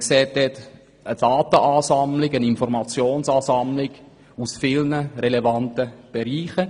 Man sieht dort eine Ansammlung von Daten und Informationen aus vielen relevanten Bereichen.